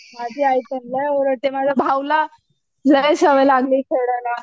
माझी आई पण लई ओरडते माझ्या भाऊला, लई सवय लागली खेळायला.